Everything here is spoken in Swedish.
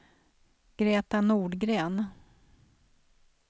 Greta Nordgren